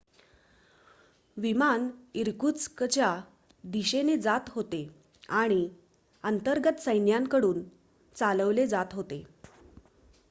विमान इर्कुत्स्कच्या दिशेने जात होते आणि अंतर्गत सैन्याकडून चालवले जात होते